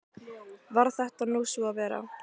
Varð þetta nú svo að vera.